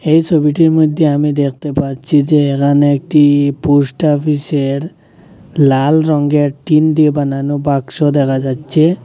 এই ছবিটির মইধ্যে আমি দেখতে পাচ্ছি যে এখানে একটি পোস্টাফিসের লাল রঙের টিন দিয়ে বানানো বাক্স দেখা যাচ্ছে।